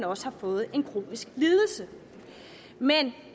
også har fået en kronisk lidelse men